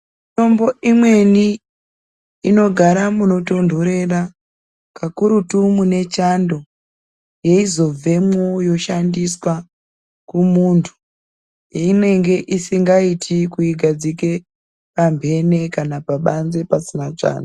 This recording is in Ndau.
Mitombo imweni inogara munotontorera kakurutu munechando eizobvemwo yoshandiswa kumuntu. Einenge isingaiti kuigadzike pamhene kana pabanze pasina chando.